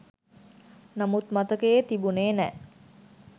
නමුත් මතකයේ තිබුණේ නෑ.